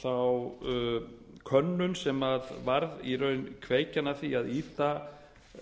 þá könnun sem varð í raun kveikjan að því að ýta